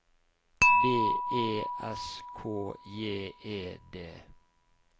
B E S K J E D